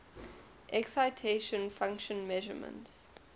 excitation function measurements